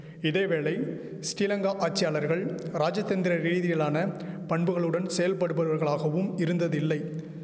இதேவேளை ஸ்ரீலங்கா ஆட்சியாளர்கள் ராஜதந்திர ரீதியிலான பண்புகளுடன் செயல்படுபவர்களாகவும் இருந்ததில்லை